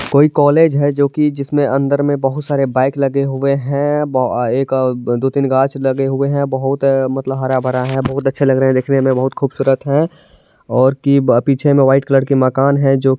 कोई कॉलेज है जो की जिसमें अन्दर में बहुत सारे बाइक लगे हुए हैं ब अ एक अ दो-तीन गाछ लगे हुए हैं बहुत मतलब हरा-भरा है| बहुत अच्छे लग रहे हैं देखने में बहुत खूबसूरत है और की पीछे में वाइट कलर की मकान है जो --